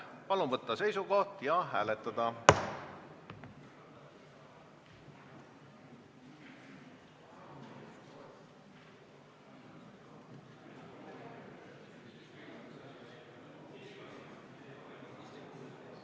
Palun võtta seisukoht ja hääletada!